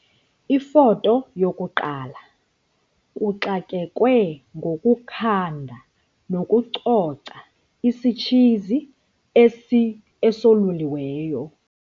Ifoto 1- Kuxakekwe ngokukhanda nokucoca isitshizi esoluliweyo.